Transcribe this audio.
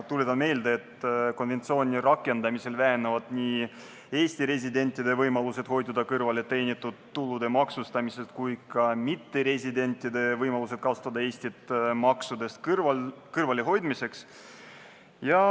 Tuletan meelde, et konventsiooni rakendamisel vähenevad nii Eesti residentide võimalused hoiduda kõrvale teenitud tulu maksustamisest kui ka mitteresidentide võimalused kasutada Eestit maksudest kõrvalehoidmiseks.